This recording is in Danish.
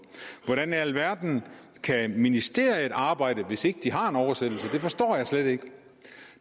hvordan i alverden kan ministeriet arbejde hvis ikke de har en oversættelse det forstår jeg slet ikke